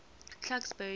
clarksburry